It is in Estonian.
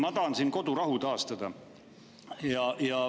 Ma tahan siin kodurahu taastada.